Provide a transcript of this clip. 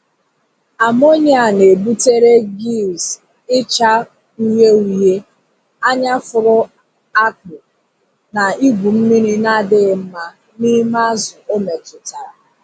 Amonia na-ebutere gills ịcha uhie uhie, anya fụrụ akpụ, na igwu mmiri na-adịghị mma n'ime azụ o metụtara.